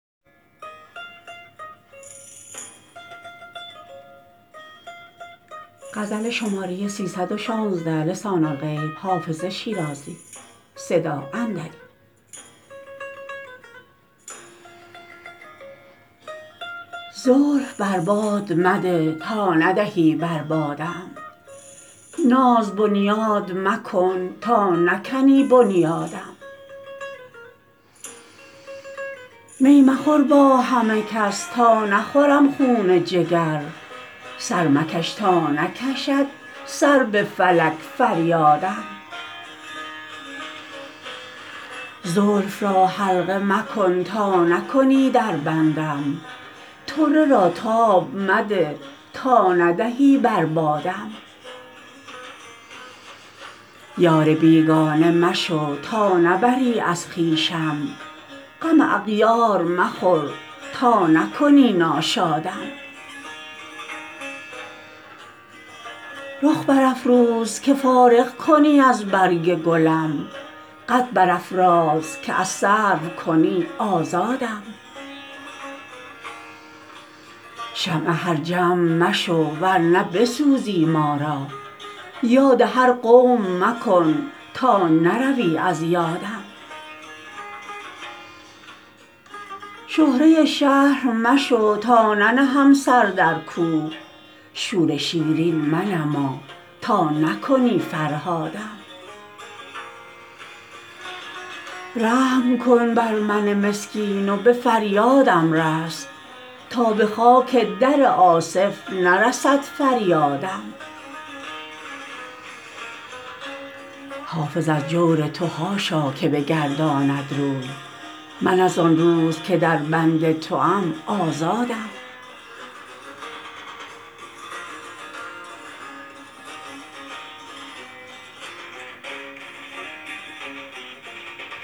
زلف بر باد مده تا ندهی بر بادم ناز بنیاد مکن تا نکنی بنیادم می مخور با همه کس تا نخورم خون جگر سر مکش تا نکشد سر به فلک فریادم زلف را حلقه مکن تا نکنی در بندم طره را تاب مده تا ندهی بر بادم یار بیگانه مشو تا نبری از خویشم غم اغیار مخور تا نکنی ناشادم رخ برافروز که فارغ کنی از برگ گلم قد برافراز که از سرو کنی آزادم شمع هر جمع مشو ور نه بسوزی ما را یاد هر قوم مکن تا نروی از یادم شهره شهر مشو تا ننهم سر در کوه شور شیرین منما تا نکنی فرهادم رحم کن بر من مسکین و به فریادم رس تا به خاک در آصف نرسد فریادم حافظ از جور تو حاشا که بگرداند روی من از آن روز که در بند توام آزادم